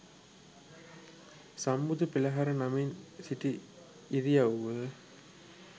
සම්බුදු පෙළහර නමින් සිටි ඉරියව්ව